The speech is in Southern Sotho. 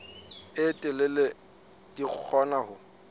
e telele di kgona ho